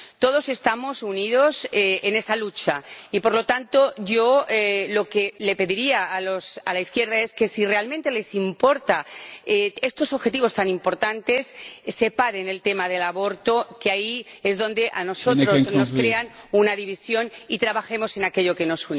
Todos estamos unidos en esta lucha y, por lo tanto, yo lo que le pediría a la izquierda es que, si realmente les importan estos objetivos tan importantes, separen el tema del aborto, que ahí es donde a nosotros nos crean una división, y trabajemos en aquello que nos